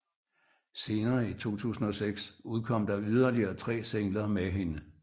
Senere i 2006 udkom der yderligere tre singler med hende